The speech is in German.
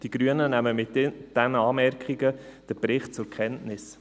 Die Grünen nehmen den Bericht mit diesen Anmerkungen zur Kenntnis.